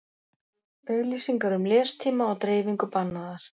Auglýsingar um lestíma og dreifingu bannaðar